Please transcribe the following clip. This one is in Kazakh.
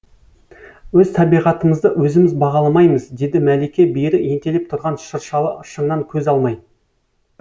өз табиғатымызды өзіміз бағаламаймыз деді мәлике бері ентелеп тұрған шыршалы шыңнан көз алмай